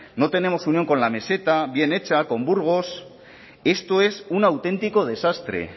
no tenemos unión con la meseta bien hecha con burgos esto es un auténtico desastre